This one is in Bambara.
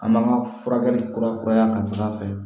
An b'an ka furakɛli kura kuraya ta fan fɛ